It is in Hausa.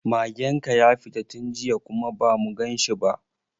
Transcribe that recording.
Magen ka ya fita tun jiya kuma ba mu ganshi ba.